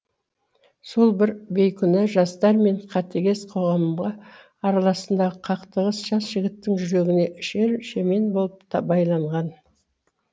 сол бір бейкүнә жастар мен қатыгез қоғамға арасындағы қақтығыс жас жігіттің жүрегіне шер шемен болып байланған